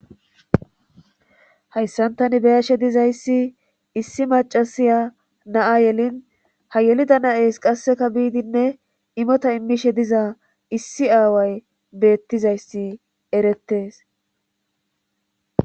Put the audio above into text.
hayssan tani be7ashe dizayssi issi macasiya na7a yelin ha yelida na7ees qasseka biidinne imota immishe diza issi aaway beettizayssi erettes.